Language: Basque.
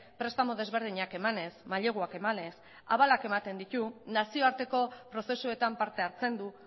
prestamu desberdinak emanez mailegua emanez abal ematen ditu nazioarteko prozesuetan parte hartzen du